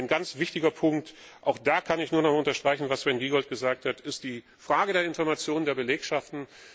Ein ganz wichtiger Punkt auch da kann ich nur unterstreichen, was Sven Giegold gesagt hat ist die Frage der Information der Belegschaften.